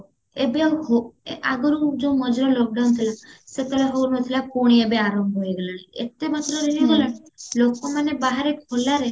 ଏବେ ଆଉ ହଉ ଆଗରୁ ଯୋଉ ମଝିରେ lock down ଥିଲା ସେତେବେଳେ ହଉନଥିଲା ପୁଣି ଏବେ ଆରମ୍ଭ ହେଇଗଲାଣି ଏତେ ଲୋକମାନେ ବାହାରେ ଖୋଲାରେ